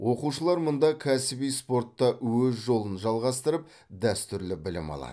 оқушылар мұнда кәсіби спортта өз жолын жалғастырып дәстүрлі білім алады